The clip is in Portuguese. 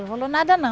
Não rolou nada não.